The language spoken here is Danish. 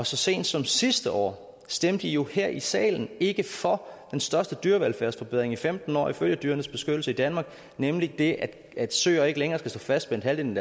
så sent som sidste år stemte i jo her i salen ikke for den største dyrevelfærdsforbedring i femten år ifølge dyrenes beskyttelse nemlig det at søer ikke længere skal stå fastspændt halvdelen